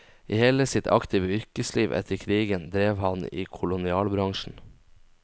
I hele sitt aktive yrkesliv etter krigen drev han i kolonialbransjen.